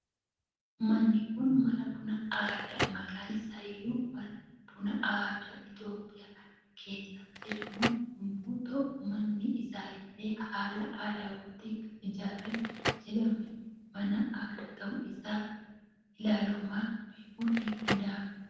Manni Kun mana bunaa aadaa maqaan isaa iyyuu mana bunaa aadaa itoophiyaa kan jedhamu yommu ta'uu manni isaa illee haala aadawaatiin kan ijaaramee jirudha mana aadaa ta'uu isaa ilaaluumaan beekun ni danda'ama.